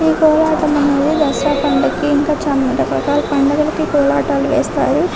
ఈ కోలాటం అనేది దసరా పండక్కి ఇంకా చాలా రకాల పండగలకి కోలాటాలు వేస్తారు.